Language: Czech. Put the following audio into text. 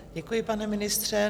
Děkuji, pane ministře.